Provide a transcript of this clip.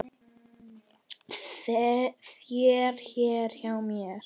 þér hér hjá mér